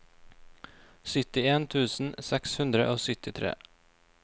syttien tusen seks hundre og syttitre